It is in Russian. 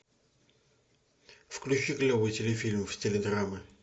включи клевый телефильм в стиле драмы